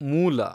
ಮೂಲ